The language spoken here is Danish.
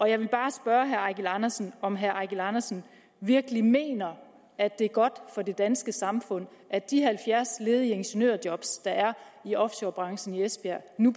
jeg vil bare spørge herre eigil andersen om herre eigil andersen virkelig mener at det er godt for det danske samfund at de halvfjerds ledige ingeniørjob der er i offshorebranchen i esbjerg nu